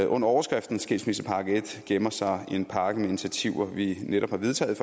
under overskriften skilsmissepakke en gemmer sig en pakke med initiativer vi netop har vedtaget